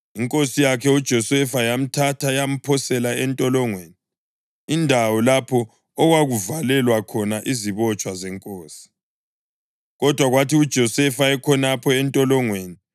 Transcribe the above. Inkosi yakhe uJosefa yamthatha yamphosela entolongweni, indawo lapho okwakuvalelwa khona izibotshwa zenkosi. Kodwa kwathi uJosefa ekhonapho entolongweni,